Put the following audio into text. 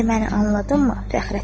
İndi məni anladınmı?